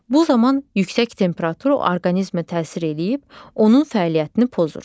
Bu zaman yüksək temperatur orqanizmə təsir eləyib, onun fəaliyyətini pozur.